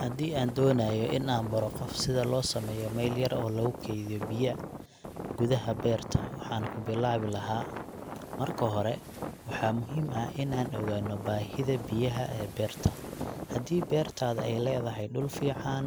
Haddii aan doonayo in aan baro qof sida loo sameeyo meel yar oo lagu keydiyo biyo gudaha beerta, waxaan ku bilaabi lahaa ; Marka hore, waxaa muhiim ah in aan ogaanno baahida biyaha ee beerta. Haddii beertaada ay leedahay dhul fiican